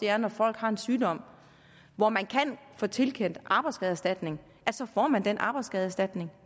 er at når folk har en sygdom hvor man kan få tilkendt arbejdsskadeerstatning så får man den arbejdsskadeerstatning